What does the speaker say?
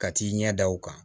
Ka t'i ɲɛ da o kan